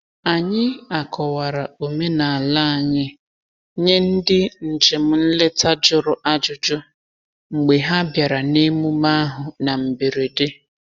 Anyị akọwara omenala anyị nye ndị njem nleta jụrụ ajụjụ mgbe ha bịara n’emume ahụ na mberede.